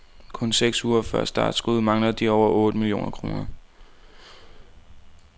Kun seks uger før startskuddet mangler de over otte millioner kroner.